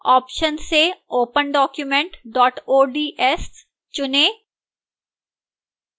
options से opendocument ods चुनें